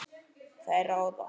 Þær ráða.